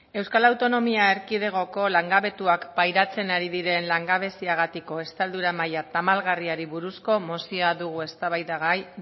euskal autonomia erkidegoko langabetuak pairatzen ari diren langabeziagatiko estaldura maila tamalgarriari buruzko mozioa dugu eztabaidagai